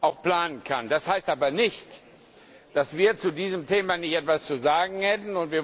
auch planen können muss. Das heißt aber nicht, dass wir zu diesem Thema nicht etwas zu sagen hätten.